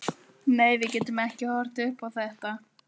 Nei, við getum ekki horft upp á þetta.